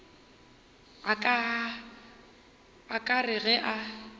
a ka re ge a